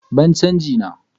Bani chanji na!